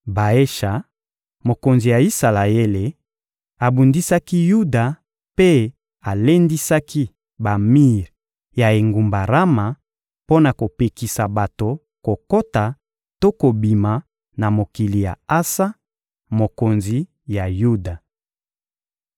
Baesha, mokonzi ya Isalaele, abundisaki Yuda mpe alendisaki bamir ya engumba Rama mpo na kopekisa bato kokota to kobima na mokili ya Asa, mokonzi ya Yuda.